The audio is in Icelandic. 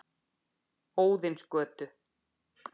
Óðinsgötu